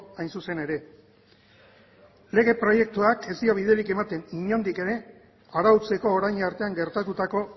hain zuzen ere lege proiektuak ez dio biderik ematen inondik ere arautzeko orain artean gertatutako